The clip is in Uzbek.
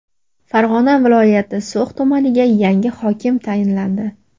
Farg‘ona viloyati So‘x tumaniga yangi hokim tayinlandi.